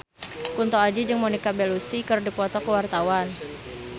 Kunto Aji jeung Monica Belluci keur dipoto ku wartawan